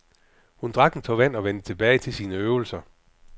Hun drak en tår vand og vendte tilbage til sine øvelser.